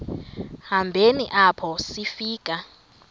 hambeni apho sifika